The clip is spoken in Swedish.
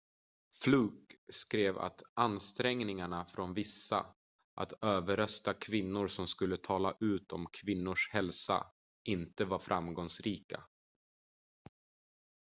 fluke skrev att ansträngningarna från vissa att överrösta kvinnor som skulle tala ut om kvinnors hälsa inte var framgångsrika